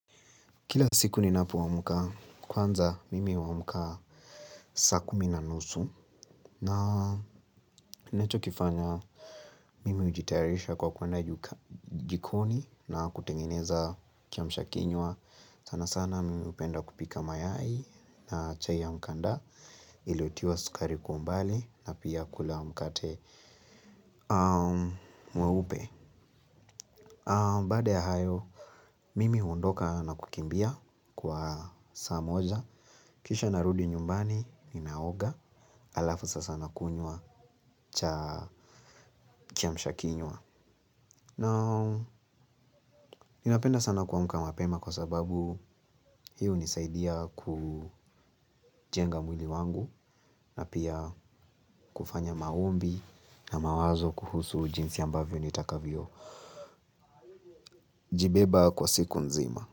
Kila siku ninapoamka kwanza mimi huamka saa kumi na nusu na nacho kifanya mimi hujitayarisha kwa kuenda jikoni na kutengeneza kiamshakinywa. Sana sana mimi hupenda kupika mayai na chai ya mkanda iliyotiwa sukari kwa umbali na pia kula mkate mweupe. Baada ya hayo mimi huondoka na kukimbia kwa saa moja. Kisha narudi nyumbani ninaoga alafu sasa nakunywa cha kiamshakinywa. Na ninapenda sana kuamuka mapema kwa sababu hiyo hunisaidia kujenga mwili wangu. Na pia kufanya maombi na mawazo kuhusu jinsi ambavyo nitakavyo jibeba kwa siku nzima.